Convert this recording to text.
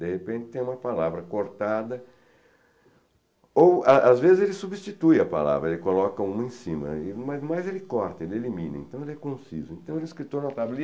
De repente tem uma palavra cortada, ou a às vezes ele substitui a palavra, ele coloca uma em cima, aí mas ele corta, ele elimina, então ele é conciso, então ele é escritor notável.